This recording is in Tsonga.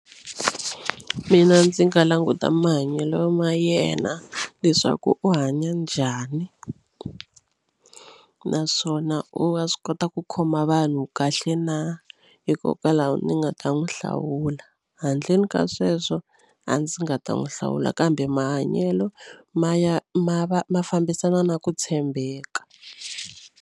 Mina ndzi nga languta mahanyelo ma yena leswaku u hanya njhani naswona u wa swi kota ku khoma vanhu kahle na hikokwalaho ni nga ta n'wi hlawula handleni ka sweswo a ndzi nga ta n'wi hlawula kambe mahanyelo ma ya ma va ma fambisana na ku tshembeka.